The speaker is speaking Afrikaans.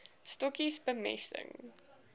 stokkies bemesting